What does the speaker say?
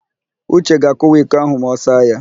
Uche ga-akụwa iko áhụ̀ ma ọ saa ya.